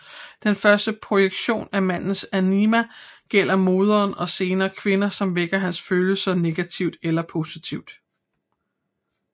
Den første projektion af mandens anima gælder moderen og senere kvinder som vækker hans følelser negativt eller positivt